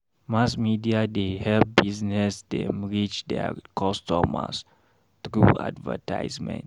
Mass media dey help business dem reach their customers through advertisement.